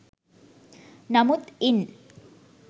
නමුත් ඉන්